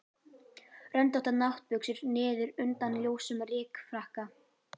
Röndóttar náttbuxur niður undan ljósum rykfrakka.